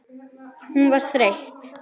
Hún var þreytt.